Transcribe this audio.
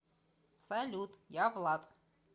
салют я влад